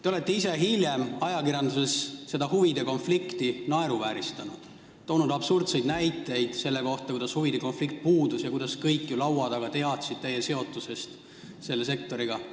Te olete ise hiljem ajakirjanduses seda huvide konflikti naeruvääristanud ja toonud absurdseid näiteid selle kohta, kuidas huvide konflikt puudus ja kuidas kõik laua taga olijad ju teadsid teie seotusest selle sektoriga.